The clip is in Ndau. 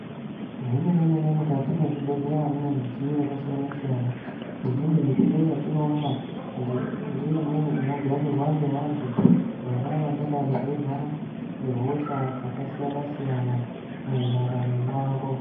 Zvemene-mene mukati mechibhedhleya mune midziyo yakasiyana-siyana imweni midziyo yatinoona ndeimweni inogarirwa ngevantu vona vangadai veirwara ngehosha dzakasiyana-siyana mundaramo mwavo.